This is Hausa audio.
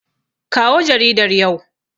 Kawo jaridar yau.